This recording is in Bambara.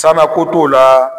Sa ma ko t'o la